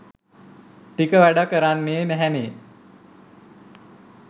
ටික වැඩ කරන්නේ නැහැනේ